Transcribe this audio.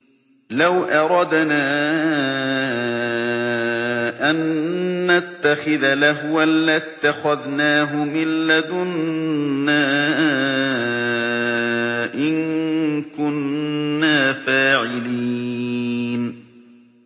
لَوْ أَرَدْنَا أَن نَّتَّخِذَ لَهْوًا لَّاتَّخَذْنَاهُ مِن لَّدُنَّا إِن كُنَّا فَاعِلِينَ